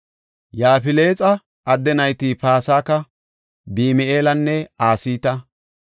Yaafilexa adde nayti Pasaka, Bimihaalanne Asita.